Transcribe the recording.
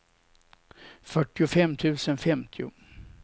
fyrtiofem tusen femtio